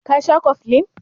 Ka sha koflin?